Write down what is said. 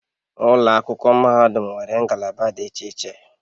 Ụlọ akwụkwọ mahadum nwere ngalaba dị iche iche